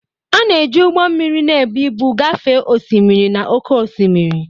A na-eji ụgbọ mmiri na-ebu ibu gafee osimiri na oke osimiri.